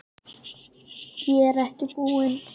Ég er ekki búinn.